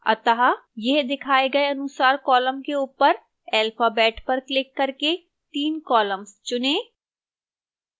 अतः यह दिखाए गए अनुसार columns के ऊपर alphabet पर क्लिक करके 3 columns चुनें